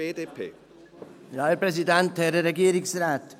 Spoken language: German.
Danke für die Klärung.